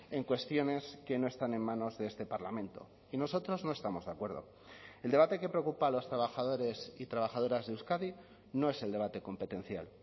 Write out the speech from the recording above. en cuestiones que no están en manos de este parlamento y nosotros no estamos de acuerdo el debate que preocupa a los trabajadores y trabajadoras de euskadi no es el debate competencial